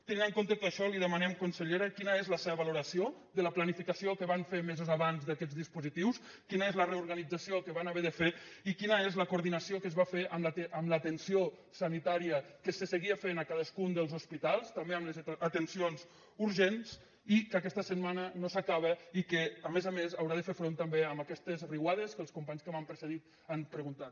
tenint en compte tot això li demanem consellera quina és la seva valoració de la planificació que van fer mesos abans d’aquests dispositius quina és la reorganització que van haver de fer i quina és la coordinació que es va fer amb l’atenció sanitària que se seguia fent a cadascun dels hospitals també amb les atencions urgents i que aquesta setmana no s’acaba i que a més a més haurà de fer front també a aquestes riuades que els companys que m’han precedit han preguntat